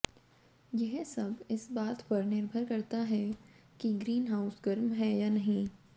यह सब इस बात पर निर्भर करता है कि ग्रीन हाउस गर्म है या नहीं